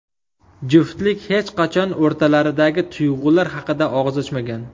Juftlik hech qachon o‘rtalaridagi tuyg‘ular haqida og‘iz ochmagan.